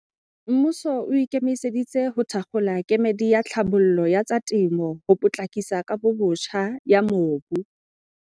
Mmuso o ikemiseditse ho thakgola kemedi ya tlhabollo ya tsa temo ho potlakisa kabobotjha ya mobu.